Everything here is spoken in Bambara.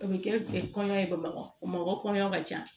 O bɛ kɛ kɔɲɔ ye bamakɔ bamakɔ kɔɲɔ ka ca